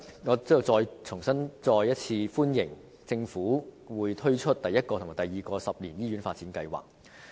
我在此再次歡迎政府推出第一個及第二個十年醫院發展計劃。